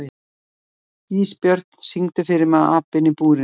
Ísbjörn, syngdu fyrir mig „Apinn í búrinu“.